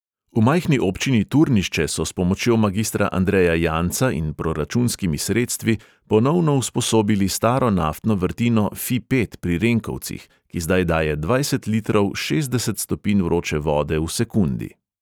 V majhni občini turnišče so s pomočjo magistra andreja janca in s proračunskimi sredstvi ponovno usposobili staro naftno vrtino fi pet pri renkovcih, ki zdaj daje dvajset litrov šestdeset stopinj vroče vode v sekundi.